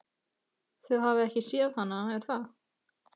Þið hafið ekki séð hana, er það?